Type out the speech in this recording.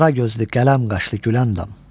Qaragözlü, qələm qaşlı Güləndam.